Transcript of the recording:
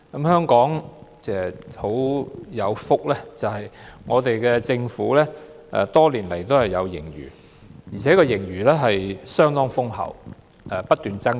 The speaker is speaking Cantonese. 香港很有福，政府多年來也有盈餘，而且盈餘相當豐厚，不斷增加。